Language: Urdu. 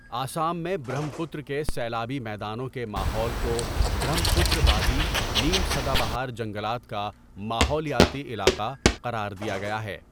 آسام میں برہم پترا کے سیلابی میدانوں کے ماحول کو برہم پترا وادی نیم سدا بہار جنگلات کا ماحولیاتی علاقہ قرار دیا گیا ہے۔